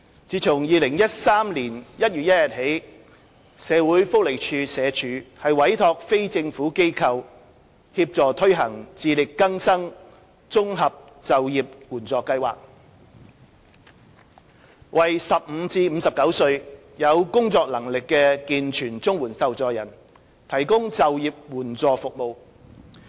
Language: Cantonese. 自2013年1月1日起，社會福利署委託非政府機構協助推行"自力更生綜合就業援助計劃"，為15至59歲有工作能力的健全綜援受助人，提供就業援助服務。